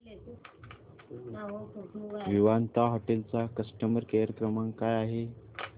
Vivanta hotel चा customer care क्रमांक काय आहे